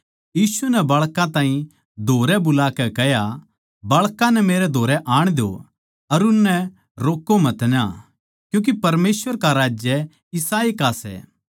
यीशु नै बाळकां ताहीं धोरै बुलाकै कह्या बाळकां नै मेरै धोरै आण द्यो अर उननै रोक्को मतना क्यूँके परमेसवर का राज्य इसाए का सै